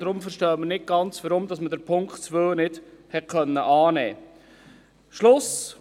Deshalb verstehen wir nicht ganz, weshalb man den Punkt 2 nicht hat annehmen können.